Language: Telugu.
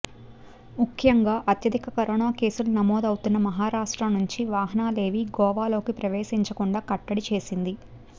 ముఖ్యంగా అత్యధిక కరోనా కేసులు నమోదవుతున్న మహారాష్ట్ర నుంచి వాహనాలేవీ గోవాలోకి ప్రవేశించకుండా కట్టడి చేసింది